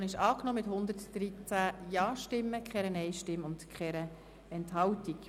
Die Motion ist angenommen worden mit 113 Ja-Stimmen, bei keinen Nein-Stimmen und Enthaltungen.